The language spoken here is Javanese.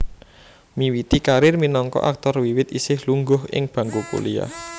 Miwiti karir minangka aktor wiwit isih lungguh ing bangku kuliah